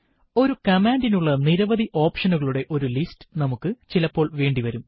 ഒരു കമാൻഡിനുള്ള നിരവധി ഒപ്ഷനുകളുടെ ഒരു ലിസ്റ്റ് നമുക്ക് ചിലപ്പോൾ വേണ്ടി വരും